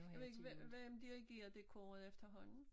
Jeg ved ikke hva hvem dirigerer det koret efterhånden?